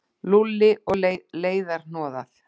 Lúlli og leiðarhnoðað